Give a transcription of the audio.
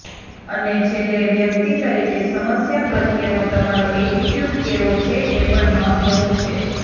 અને છેલ્લે વ્યક્તિ તરીકે સમસ્યા પ્રત્યેનો તમારો એટિટયૂડ કેવો છે એ પણ મહત્ત્વનું છે